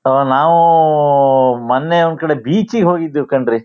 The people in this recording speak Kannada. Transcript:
ಸೋ ನಾವೂ ಮೊನ್ನೆ ಒಂದ್ ಕಡೆ ಬೀಚ್ ಗ್ ಹೋಗಿದ್ವಿ ಕಣ್ರೀ.